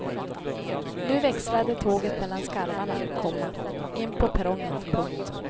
Nu växlade tåget mellan skarvarna, komma in på perrongen. punkt